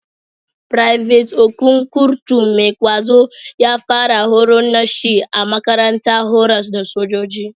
Private Okon, kurtu mai ƙwazo, ya fara horon nashi a makarantar horas da sojoji.